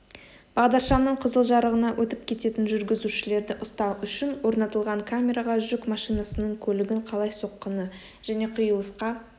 бағдаршамның қызыл жарығына өтіп кететін жүргізушілерді ұстау үшін орнатылған камераға жүк машинасының көлігін қалай соққаны және қиылысқа